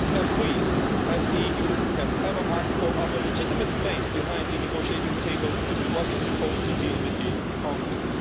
Have we, as the EU, ever asked for our legitimate place at the negotiating table that is supposed to deal with the conflict?